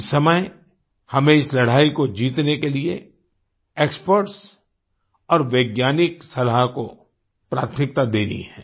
इस समय हमें इस लड़ाई को जीतने के लिए एक्सपर्ट्स और वैज्ञानिक सलाह को प्राथमिकता देनी है